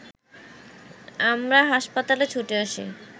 আমরা হাসপাতালে ছুটে আসি